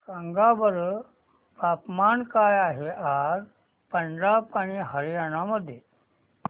सांगा बरं तापमान काय आहे आज पंजाब आणि हरयाणा मध्ये